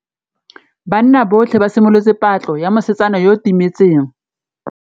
Banna botlhê ba simolotse patlô ya mosetsana yo o timetseng.